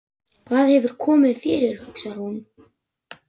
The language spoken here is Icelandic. Hvað hefur komið fyrir, hugsaði hún.